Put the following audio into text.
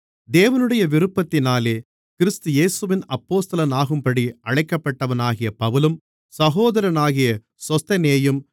தேவனுடைய விருப்பத்தினாலே கிறிஸ்து இயேசுவின் அப்போஸ்தலனாகும்படி அழைக்கப்பட்டவனாகிய பவுலும் சகோதரனாகிய சொஸ்தெனேயும்